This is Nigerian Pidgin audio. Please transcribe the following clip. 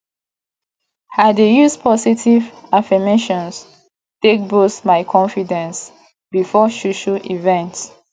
i dey use positive affirmations take boost my confidence before social events